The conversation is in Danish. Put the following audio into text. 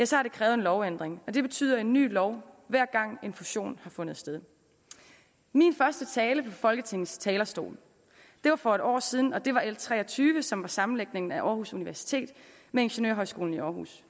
så har det krævet en lovændring og det betyder en ny lov hver gang en fusion har fundet sted min første tale fra folketingets talerstol var for et år siden og den angik l tre og tyve som sammenlægningen af aarhus universitet med ingeniørhøjskolen i aarhus